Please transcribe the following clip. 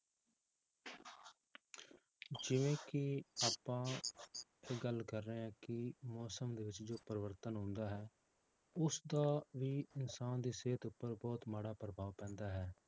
ਜਿਵੇਂ ਕਿ ਆਪਾਂ ਗੱਲ ਕਰ ਰਹੇ ਹਾਂ ਕਿ ਮੌਸਮ ਦੇ ਵਿੱਚ ਜੋ ਪਰਿਵਰਤਨ ਆਉਂਦਾ ਹੈ, ਉਸਦਾ ਵੀ ਇਨਸਾਨ ਦੀ ਸਿਹਤ ਉੱਪਰ ਬਹੁਤ ਮਾੜਾ ਪ੍ਰਭਾਵ ਪੈਂਦਾ ਹੈ